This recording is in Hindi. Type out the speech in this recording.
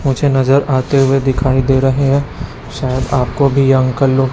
मुझे नजर आते हुए दिखाई दे रहे है शायद आपको भी यह अंकल लोग--